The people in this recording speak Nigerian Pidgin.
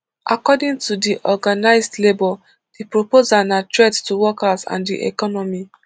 according to di organised labour di proposal na threat to workers and di economy